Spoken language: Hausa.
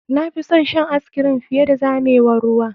Na fi son shan ice cream fiye da zamewar ruwa.